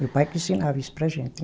Meu pai que ensinava isso para a gente.